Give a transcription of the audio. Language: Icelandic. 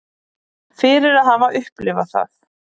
Fyrir að hafa upplifað það.